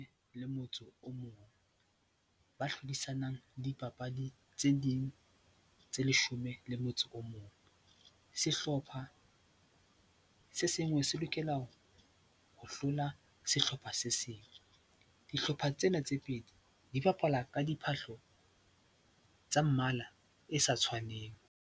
Le motse o mong, ba hlodisanang dipapadi tse ding tse leshome le motso o mong. Sehlopha se sengwe se lokela ho hlola sehlopha se seng. Dihlopha tsena tse pedi di bapala ka diphahlo tsa mmala e sa tshwaneng.